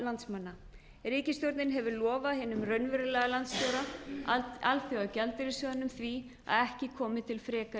landsmanna ríkisstjórnin hefur lofað hinum raunverulega landstjóra alþjóðagjaldeyrissjóðnum því að ekki komi til frekari